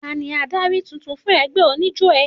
Tani adarí tuntun fún ẹgbẹ́ oníjó ẹ?